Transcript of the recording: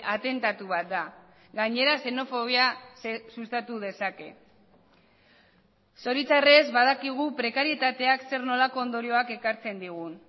atentatu bat da gainera xenofobia sustatu dezake zoritxarrez badakigu prekarietateak zer nolako ondorioak ekartzen digun